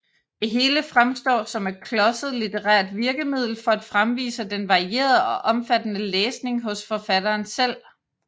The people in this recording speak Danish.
Det hele fremstår som et klodset litterært virkemiddel for at fremvise den varierede og omfattende læsning hos forfatteren selv